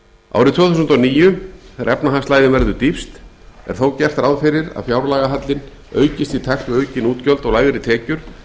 árið tvö þúsund og níu þegar efnahagslægðin verður dýpst er þó gert ráð fyrir að fjárlagahallinn aukist í takt við aukin útgjöld og lægri tekjur